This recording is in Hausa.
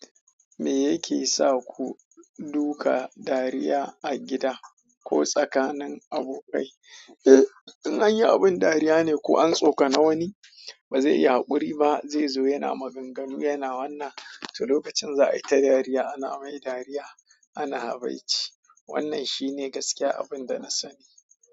Me yake sa ku duka dariya a gida ko tsakanin abokai? In anyi abun dariya ne ko antso kani wani, bazai iya hakuri ba zai zo yana maganganu yana wannan. To lokacin za a yi ta dariya, ana mai dariya, ana habaici. Wannan shine gaskiya abin da na sani.